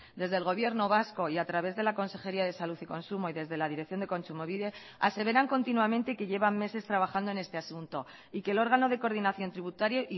desde el gobierno vasco y a través de la consejería de salud y consumo y desde la dirección de kontsumobide aseveran continuamente que llevan meses trabajando en este asunto y que el órgano de coordinación tributaria